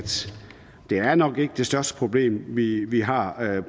det her nok ikke er det største problem vi vi har